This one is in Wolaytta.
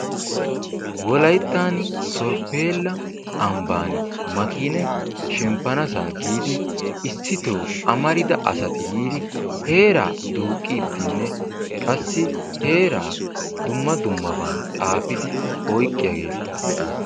Wolayttan sorppela ambban maakiinay shemppanssa giidi amarida asay yiidi heera duuqqiiddinne qassi heeraa dumma dummaban xaafidi oyqqiyaageeta be'aas.